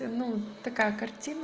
ну такая картина